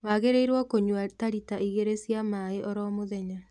Wagĩrĩirwo kũnyua ta lita igĩrĩ cia maĩ oro mũthenya